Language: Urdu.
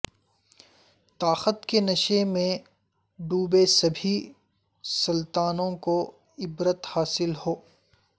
طاقت کے نشے میں ڈوبے سبھی سلطانوں کو عبرت حاصل ہو